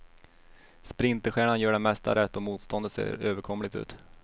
Sprinterstjärnan gör det mesta rätt och motståndet ser överkomligt ut.